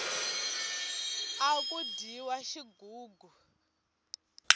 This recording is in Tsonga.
aku dyiwa xigugu